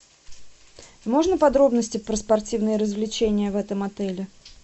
можно подробности про спортивные развлечения в этом отеле